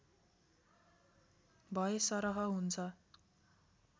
भएसरह हुन्छ